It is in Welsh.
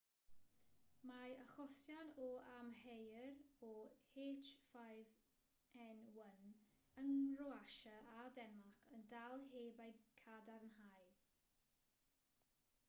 mae achosion a amheuir o h5n1 yng nghroatia a denmarc yn dal heb eu cadarnhau